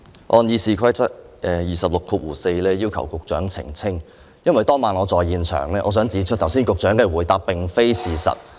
我按《議事規則》第264條，要求局長澄清，因為當晚我在現場，我想指出局長剛才的回答並非事實。